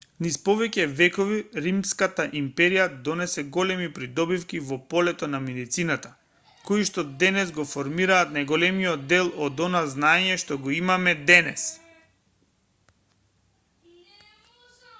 низ повеќе векови римската империја донесе големи придобивки во полето на медицината коишто денес го формираат најголемиот дел од она знаење што го имаме денес